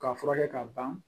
K'a furakɛ k'a ban